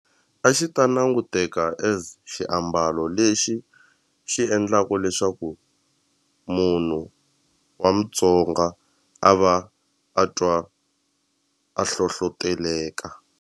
A xi ta languteka as xiambalo lexi xi endlaka leswaku munhu wa Mutsonga a va a twa a hlohloteleka.